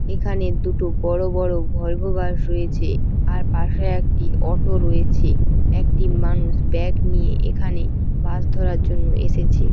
এখানে দুটো বড়ো বড়ো ভলভো বাস রয়েছে আর পাশে একটি অটো রয়েছে একটি মানুষ ব্যাগ নিয়ে এখানে বাস ধরার জন্য এসেছে।